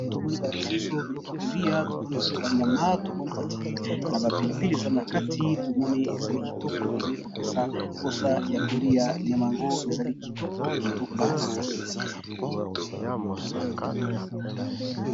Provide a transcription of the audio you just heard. To moni ba lakisi biso biloko ya kolia to moni ezali bavnyama, to moni ba tié yango na ba pilipili ezali na kati, tobmoni ezali kitoko, ezali ko pesa posa ya kolia . Nyama yango ezali kitoko kitoko makasi .